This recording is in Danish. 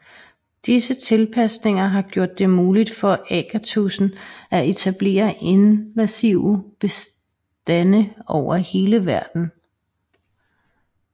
Disse tilpasninger har gjort det muligt for agatudsen at etablere invasive bestande over hele verden